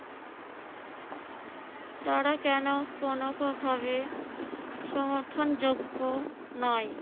তারা কেন কোন কথাকে সমর্থনযোগ্য নাই?